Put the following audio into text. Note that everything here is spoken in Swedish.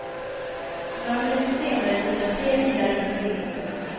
Några minuter senare dundrar tre bilar in på egendomen.